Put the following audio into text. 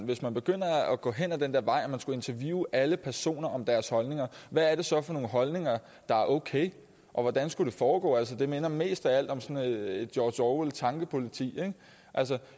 hvis man begynder at gå hen ad den der vej og man skal interviewe alle personer om deres holdninger hvad er det så for nogle holdninger der er okay og hvordan skulle det foregå altså det minder mest af alt om sådan et et george orwell tankepoliti